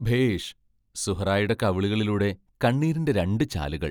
ഭേഷ് സുഹ്റായുടെ കവിളുകളിലൂടെ കണ്ണീരിന്റെ രണ്ടു ചാലുകൾ!